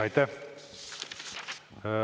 Aitäh!